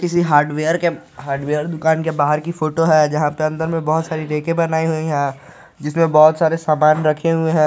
किसी हार्डवेयर के हार्डवेयर दुकान के बाहर की फोटो हैं जहां पर अंदर में बहुत सारी रेकें है बनाई हुई है इसमें बहुत सारे सामान रखे हुए हैं।